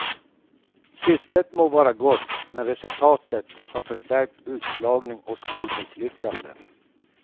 Syftet må vara gott, men resultatet har förstärkt utslagning och skolmisslyckanden.